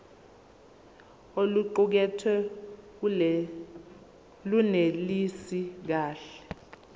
oluqukethwe lunelisi kahle